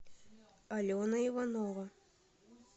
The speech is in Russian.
алена иванова